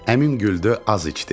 Əmim güldü, az iç dedi.